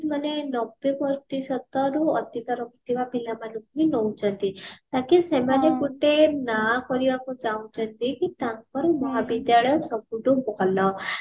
ମାନେ ନବେ ପ୍ରତିଶତ ରୁ ଅଧିକ ରଖିଥିବା ପିଲାମାନଙ୍କୁ ହିଁ ନଉଛନ୍ତି ତାକି ସେମାନେ ଗୋଟେ ନାଁ କରିବାକୁ ଚହୁଁଛନ୍ତି କି ତାଙ୍କର ମହାବିଦ୍ୟାଳୟ ସବୁଠୁ ଭଲ